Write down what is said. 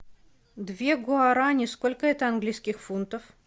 две гуарани сколько это английских фунтов